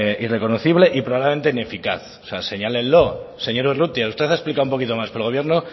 irreconocible y probablemente ineficaz señálenlo señor urrutia usted ha explicado un poco más pero el gobierno